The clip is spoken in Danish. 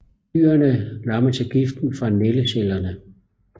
Dyrene lammes af giften fra nældecellerne